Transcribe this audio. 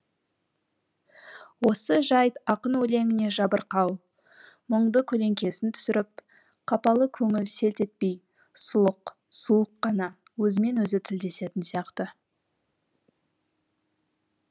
осы жайт ақын өлеңіне жабырқау мұңды көлеңкесін түсіріп қапалы көңіл селт етпей сұлық суық қана өзімен өзі тілдесетін сияқты